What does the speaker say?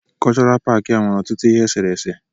Kọlchọral paaki a nwere ọtụtụ ihe esere ese.